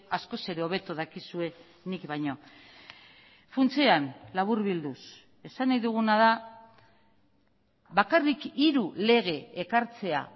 askoz ere hobeto dakizue nik baino funtsean laburbilduz esan nahi duguna da bakarrik hiru lege ekartzea